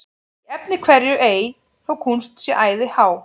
Í efni hverju ei þó kúnst sé æði há,